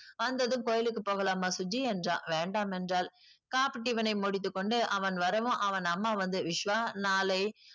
வந்ததும் கோயிலுக்கு போகலாமா சுஜி என்றாள் வேண்டாம் என்றாள் coffee, tiffin ஐ முடித்துக்கொண்டு அவன் வரவும் அவன் அம்மா வந்து விஷ்வா நாளை